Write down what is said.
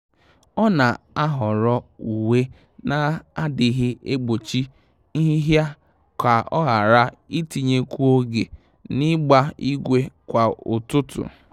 Ọ́ nà-àhọ́rọ́ uwe nà-adị́ghị́ ègbòchí nhị́hị́à kà ọ́ ghara itinyekwu oge n’ị́gbà ígwè kwa ụ́tụ́tụ́.